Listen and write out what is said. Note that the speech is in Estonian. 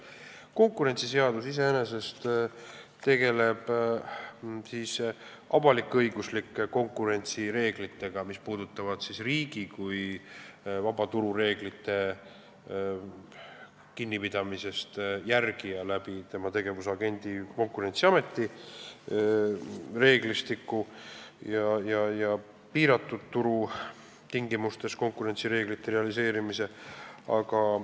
Konkurentsiseadus iseenesest tegeleb avalik-õiguslike konkurentsireeglitega, mis puudutavad riigi kui vabaturureeglitest kinnipidamise jälgija tegevust tema tegevusagendi Konkurentsiameti reeglistiku ja piiratud turu tingimustes konkurentsireeglite realiseerimise kaudu.